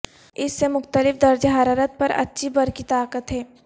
اس سے مختلف درجہ حرارت پر اچھی برقی طاقت ہے